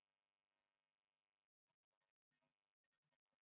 હા madam, બોલો હું આપની શું સહાયતા કરી શકું?